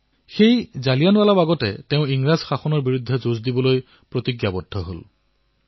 সেই জালিয়ানাৱালাবাগতেই তেওঁ ইংৰাজী শাসনৰ বিৰুদ্ধে যুদ্ধ কৰাৰ প্ৰতিজ্ঞা কৰিলে